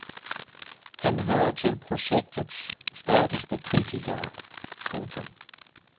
Han hører til projektets stærkeste kritikere. punktum